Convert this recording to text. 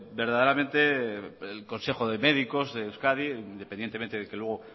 verdaderamente el consejo de médicos de euskadi independientemente de que luego